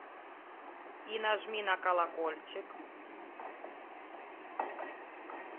и нажми на колокольчик